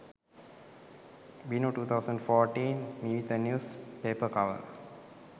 vinu 2014 meevitha news paper cover